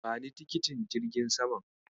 Bani tikitin jirgin saman.